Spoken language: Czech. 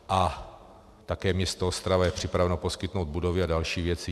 A také město Ostrava je připraveno poskytnout budovy a další věci.